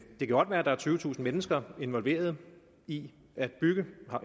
godt være at der er tyvetusind mennesker involveret i at bygge